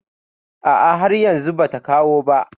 Ah ah, har yanzu ba ta kawo ba